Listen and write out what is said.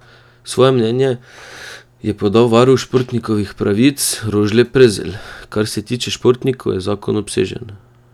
Svoje mnenje je podal varuh športnikovih pravic Rožle Prezelj: "Kar se tiče športnikov je zakon obsežen.